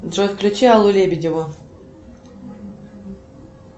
джой включи аллу лебедеву